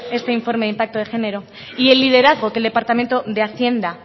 este informe de impacto de género y el liderazgo que el departamento de hacienda